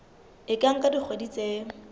e ka nka dikgwedi tse